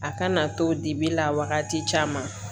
A kana to dibi la wagati caman